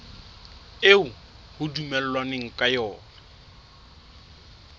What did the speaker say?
eo ho dumellanweng ka yona